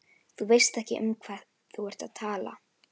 Þú veist ekki um hvað þú ert að tala.